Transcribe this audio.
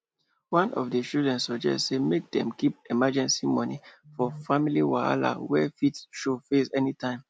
one of the chlidren suggest say make dem keep emergency money for family wahala wey fit show face anytime